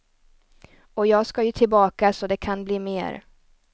Och jag ska ju tillbaka så det kan bli mer.